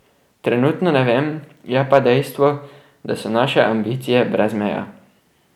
Trenutno ne vem, je pa dejstvo, da so naše ambicije brez meja.